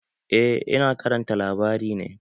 Eh, Ina karanta labari ne